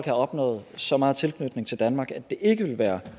opnået så meget tilknytning til danmark at det ikke vil være